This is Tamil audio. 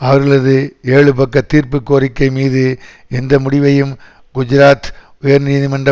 அவர்களது ஏழு பக்க தீர்ப்பு கோரிக்கை மீது எந்த முடிவையும் குஜராத் உயர்நீதிமன்ற